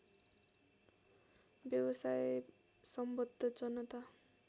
व्यवसाय सम्बद्ध जनता